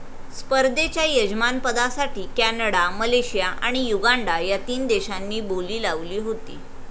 स्पर्धेच्या यजमानपदासाठी Canada, Malaysia आणि युगांडा ह्या तीन देशांनी बोली लावली होती.